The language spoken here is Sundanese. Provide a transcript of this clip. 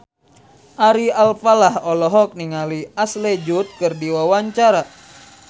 Ari Alfalah olohok ningali Ashley Judd keur diwawancara